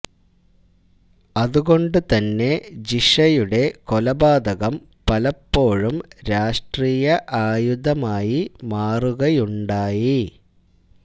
അതുകൊണ്ട് തന്നെ ജിഷയുടെ കൊലപാതകം പലപ്പോഴും രാഷ്ട്രീയ ആയുധമായി മാറുകയുണ്ടായി